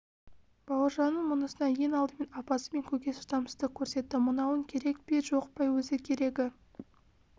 бауыржанның мұнысына ең алдымен апасы мен көкесі шыдамсыздық көрсетті мынауың керек пе жоқ па өзі керегі